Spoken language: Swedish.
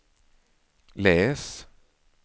läs